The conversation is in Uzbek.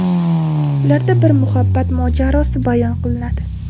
Ularda bir muhabbat mojarosi bayon qilinadi.